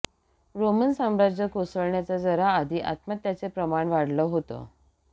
Roman साम्राज्य कोसळण्याच्या जरा आधी आत्महत्यांचे प्रमाण वाढलं होतं